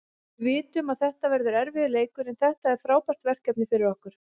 Við vitum að þetta verður erfiður leikur, en þetta er frábært verkefni fyrir okkur.